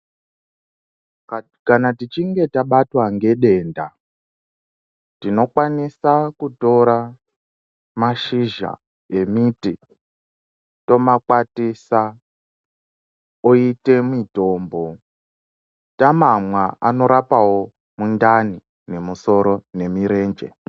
Ka kana tichinge tabatwa ngedenda, tinokwanisa kutora mashizha emiti, tomakwatisa, oite mitombo. Tamamwa anorapawo mundani, nemusoro nemirenje.